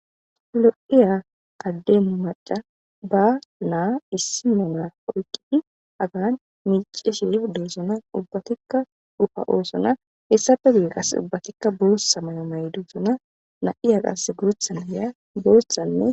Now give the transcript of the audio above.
lo7iya qaddemu maca ba naa issi monaa oyqqidi agan miice shif deesona ubbatikka dufa oosona hessafe gii qas ubbatikka boossa mayo may duusona na7iya qas guruthanne ya gooshanne